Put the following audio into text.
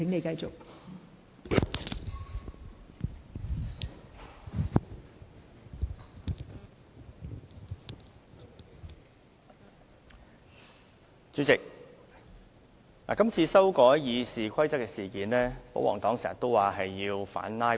代理主席，今次修改《議事規則》，保皇黨經常說是為了反"拉布"。